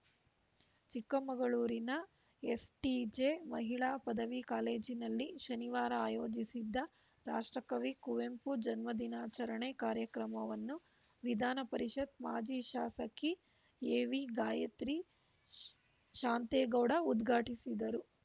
ಚಿಕ್ಕಮಗಳೂರಿನ ಎಸ್‌ಟಿಜೆ ಮಹಿಳಾ ಪದವಿ ಕಾಲೇಜಿನಲ್ಲಿ ಶನಿವಾರ ಆಯೋಜಿಸಿದ್ದ ರಾಷ್ಟ್ರ ಕವಿ ಕುವೆಂಪು ಜನ್ಮ ದಿನಾಚರಣೆ ಕಾರ್ಯಕ್ರಮವನ್ನು ವಿಧಾನ ಪರಿಷತ್‌ ಮಾಜಿ ಶಾಸಕಿ ಎವಿಗಾಯತ್ರಿ ಶಾಂತೇಗೌಡ ಉದ್ಘಾಟಿಸಿದರು